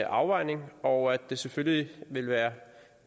afvejning og at det selvfølgelig ville være